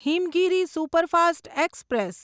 Himgiri superfast express